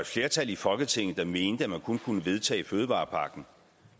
flertal i folketinget havde ment at man kun kunne vedtage fødevarepakken